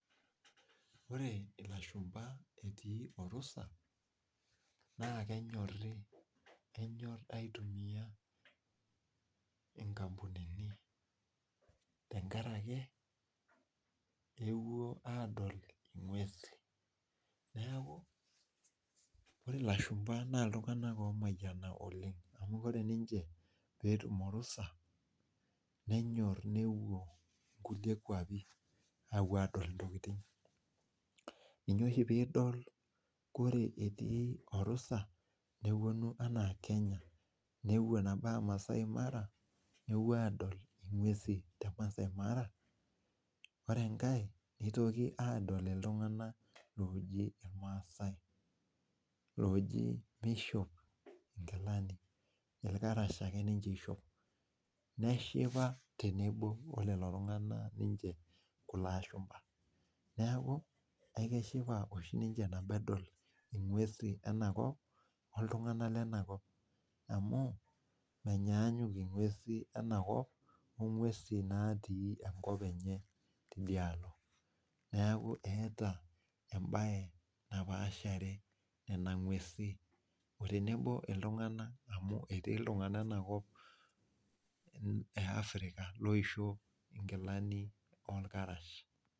Ore ilashumba etii orusa naa kenyorii, kenyor aitumiya inkmpunini tengaraki euwuo aadol inguesi, naaku ore ilashumba naa iltunganak oomayana oleng amu ore ninche peetum orusa, nenyorr neewuo nkule kuapi, aewuo aadol intokitin, ninye oshi piidol ore etii orusa neponu anaa Kenya, neuwuo ata maasai mara, neuwuo adol inguesi te masai mara, ore enkae neitoki aadol iltungana looji ilmaasai, looji meishop inkilani ,ilkarash ake openy ninche eishop, neshipa tenebo olelo tungana niche kulo ashumba, neaku ekeshipa oshi ninche tenedol inguesi enakop oltungana le anakop amu menyaanyuk inguesi enakop onguesi natii enkop enye tedialo, neaku eata embaye napaashare nena inguesi otenebo oltungana amu etii iltungana ana kop e África loishop inkilani olkarash.